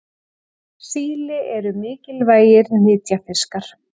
Síli eru mikilvægir nytjafiskar.